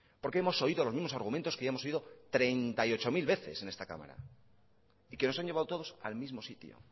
porque hemos oído los mismo argumentos que hemos oído treinta y ocho mil veces en esta cámara y que nos han llevado todos al mismo sitio